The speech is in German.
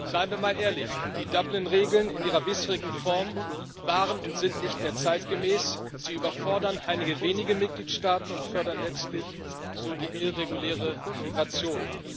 Seien wir mal ehrlich Die Dublin Regeln in ihrer bisherigen Form waren und sind nicht mehr zeitgemäß, sie überfordern einige wenige Mitgliedstaaten und fördern letztlich so die irreguläre Migration.